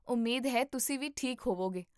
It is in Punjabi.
ਉਮੀਦ ਹੈ ਤੁਸੀਂ ਵੀ ਠੀਕ ਹੋਵੋਗੇ!